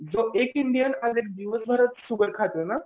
जो एक इंडियन दिवसभरात शुगर खातोय ना